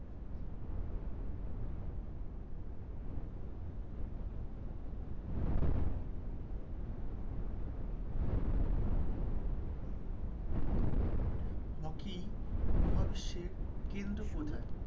Hockey মহাবিশ্বের কেন্দ্র কোথায়?